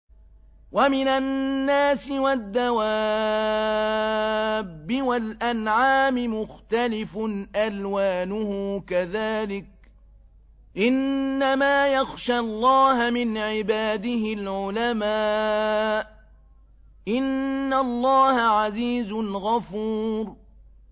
وَمِنَ النَّاسِ وَالدَّوَابِّ وَالْأَنْعَامِ مُخْتَلِفٌ أَلْوَانُهُ كَذَٰلِكَ ۗ إِنَّمَا يَخْشَى اللَّهَ مِنْ عِبَادِهِ الْعُلَمَاءُ ۗ إِنَّ اللَّهَ عَزِيزٌ غَفُورٌ